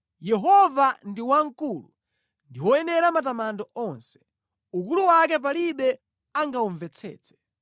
Yehova ndi wamkulu ndi woyenera matamando onse; ukulu wake palibe angawumvetsetse.